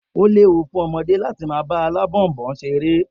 O léwu fún ọmọdé láti máa fí Ọ̀bọ̀ọ̀nbọọ̀n ṣeré.